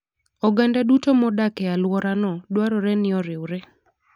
Oganda duto modak e alworano, dwarore ni oriwre.